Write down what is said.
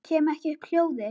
Kem ekki upp hljóði.